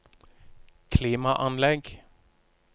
klimaanlegg